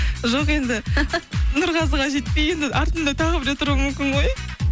жоқ енді нұрғазыға жетпей енді артымда тағы біреу тұруы мүмкін ғой